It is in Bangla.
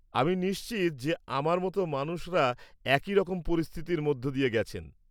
আমি নিশ্চিত যে আমার মতো মানুষরা একই রকম পরিস্থিতির মধ্য দিয়ে গেছেন।